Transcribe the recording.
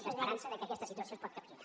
d’esperança que aquesta situació es pot capgirar